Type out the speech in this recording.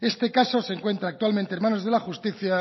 este caso se encuentra actualmente en manos de la justicia